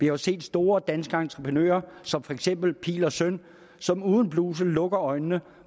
jo set store danske entreprenører som for eksempel pihl og søn som uden blusel lukker øjnene